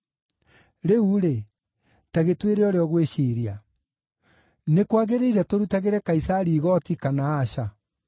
Rĩu-rĩ, ta gĩtwĩre ũrĩa ũgwĩciiria. Nĩ kwagĩrĩire tũrutagĩre Kaisari igooti, kana aca?”